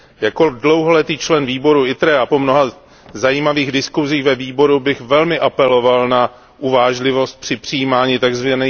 Jako dlouholetý člen výboru ITRE a po mnoha zajímavých diskusích ve výboru bych velmi apeloval na uvážlivost při přijímání tzv.